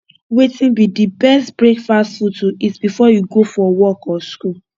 wetin be di best breakfast food to eat before you go for work or school